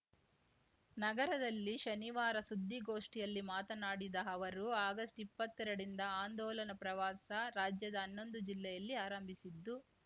ನಗರದಲ್ಲಿ ಶನಿವಾರ ಸುದ್ದಿಗೋಷ್ಠಿಯಲ್ಲಿ ಮಾತನಾಡಿದ ಅವರು ಆಗಸ್ಟ್ಇಪ್ಪತ್ತೆರಡರಿಂದ ಆಂದೋಲನ ಪ್ರವಾಸ ರಾಜ್ಯದ ಹನ್ನೊಂದು ಜಿಲ್ಲೆಯಲ್ಲಿ ಆರಂಭಿಸಿದ್ದು